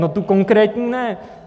no tu konkrétní ne.